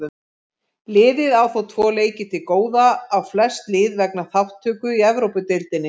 Liðið á þó tvo leiki til góða á flest lið vegna þátttöku í Evrópudeildinni.